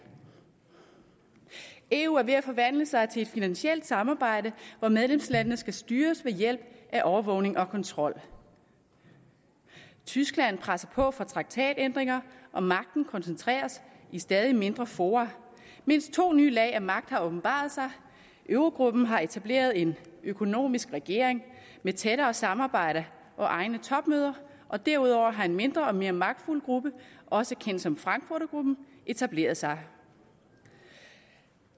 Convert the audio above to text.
eu er ved at forvandle sig til et finansielt samarbejde hvor medlemslandene skal styres ved hjælp af overvågning og kontrol tyskland presser på for traktatændringer og magten koncentreres i stadig mindre fora mindst to nye lag af magt har åbenbaret sig eurogruppen har etableret en økonomisk regering med tættere samarbejde og egne topmøder og derudover har en mindre og mere magtfuld gruppe også kendt som frankfurtergruppen etableret sig